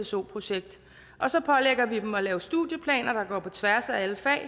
sso projekt og så pålægger vi dem at lave studieplaner der går på tværs af alle fag